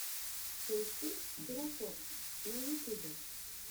поищи терафокс на ютюбе